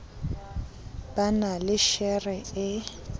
ba na le shere e